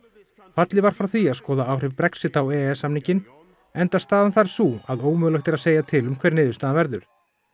fallið var frá því að skoða áhrif Brexit á e e s samninginn enda staðan þar sú að ómögulegt er að segja til um hver niðurstaðan verður